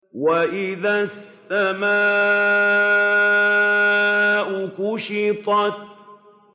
وَإِذَا السَّمَاءُ كُشِطَتْ